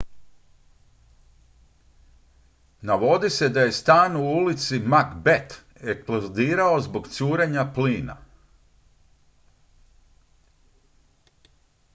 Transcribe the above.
navodi se da je stan u ulici macbeth eksplodirao zbog curenja plina